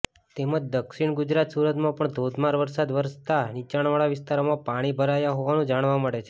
તેમજ દક્ષિણગુજરાત સુરતમાં પણ ધોધમાર વરસાદ વરસતા નિચાણવાળા વિસ્તારોમાં પાણી ભરાયા હોવાનું જાણવા મળે છે